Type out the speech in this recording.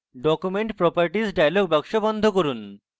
document properties dialog box বন্ধ করুন